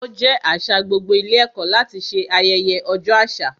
Ó jẹ́ àṣà gbogbo ilé ẹ̀kọ́ láti ṣe ayẹyẹ ọjọ́ àṣà.